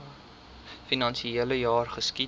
finansiele jaar geskied